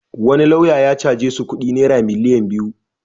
Wani lauya ya caje su kudi naira miliyan biyu.